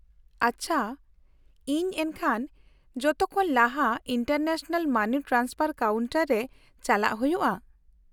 -ᱟᱪᱪᱷᱟ, ᱤᱧ ᱮᱱᱠᱷᱟᱱ ᱡᱚᱛᱚᱠᱷᱚᱱ ᱞᱟᱦᱟ ᱤᱱᱴᱟᱨᱱᱮᱥᱱᱟᱞ ᱢᱟᱱᱤ ᱴᱨᱟᱱᱥᱯᱷᱟᱨ ᱠᱟᱣᱩᱱᱴᱟᱨ ᱨᱮ ᱪᱟᱞᱟᱜ ᱦᱩᱭᱩᱜᱼᱟ ?